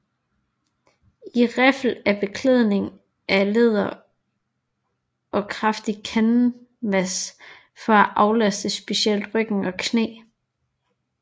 I riffel er beklædningen af læder og kraftig kanvas for at aflaste specielt ryg og knæ